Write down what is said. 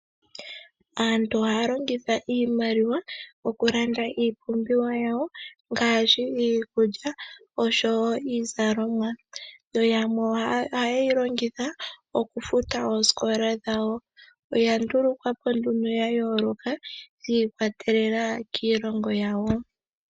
Aantu ohaya longitha iimaliwa okulanda iipumbiwa yawo ngaashi iikulya osho wo iizalomwa yo yamwe ohaye yi longitha okufuta oosikola dhawo. Oya ndulukwa po nduno yayooloka shi ikwatelela kiilongo yawo.